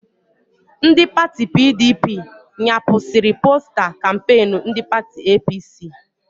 Ndị pati PDP nyapụsiri posta kampeenu ndị pati APC